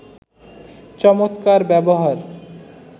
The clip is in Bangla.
চমৎকার ব্যবহার